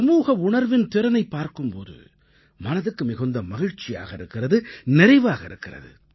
சமூக உணர்வின் திறனைப் பார்க்கும் போது மனதுக்கு மிகுந்து மகிழ்ச்சியாக இருக்கிறது நிறைவாக இருக்கிறது